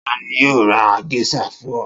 Ta ni yóò ra géíṣà fún ọ?